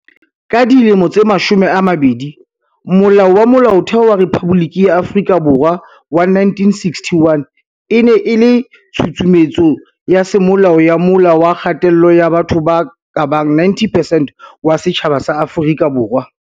Ka dilemo tse mashome a mabedi, Molao wa Molaotheo wa Rephaboliki ya Afrika Borwa wa 1961 e ne e le tshusumetso ya semolao ya mola wa kgatello ya batho ba kabang 90 percent wa setjhaba sa Afrika Borwa.